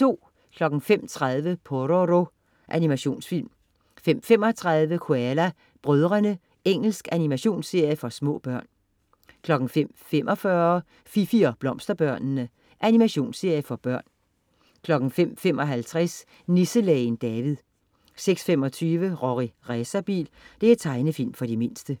05.30 Pororo. Animationsfilm 05.35 Koala brødrene. Engelsk animationsserie for små børn 05.45 Fifi og Blomsterbørnene. Animationsserie for børn 05.55 Nisselægen David 06.25 Rorri Racerbil. Tegnefilm for de mindste